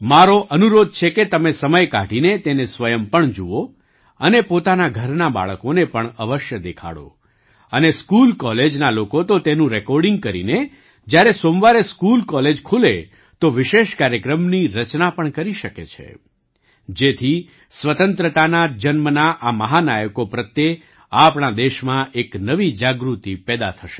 મારો અનુરોધ છે કે તમે સમય કાઢીને તેને સ્વયં પણજુઓ અને પોતાના ઘરનાં બાળકોને પણ અવશ્ય દેખાડો અને સ્કૂલકૉલેજના લોકો તો તેનું રેકૉર્ડિંગ કરીને જ્યારે સોમવારે સ્કૂલકૉલેજ ખુલે તો વિશેષ કાર્યક્રમની રચના પણ કરી શકે છે જેથી સ્વતંત્રતાના જન્મના આ મહાનાયકો પ્રત્યે આપણા દેશમાં એક નવી જાગૃતિ પેદા થશે